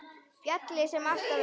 Fjallið sem alltaf er.